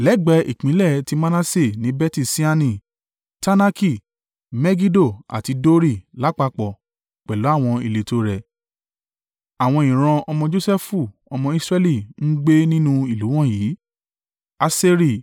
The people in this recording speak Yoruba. Lẹ́gbẹ̀ ìpínlẹ̀ ti Manase ni Beti-Ṣeani, Taanaki, Megido àti Dori lápapọ̀ pẹ̀lú àwọn ìletò rẹ̀. Àwọn ìran ọmọ Josẹfu ọmọ Israẹli ń gbé nínú ìlú wọ̀nyí.